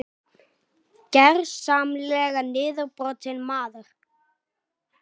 Gersamlega niðurbrotinn maður.